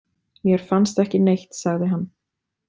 Mér fannst ekki neitt, sagði hann.